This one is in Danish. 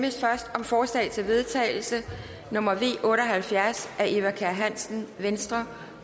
først om forslag til vedtagelse nummer v otte og halvfjerds af eva kjer hansen hansen